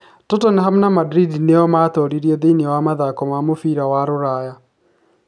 Tottenham na Madrid nĩo maatooririe thĩiniĩ wa mathako ma mũbira wa rũraya